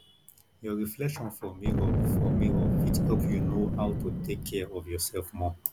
your reflection for mirror for mirror fit help you know how to take care of your self more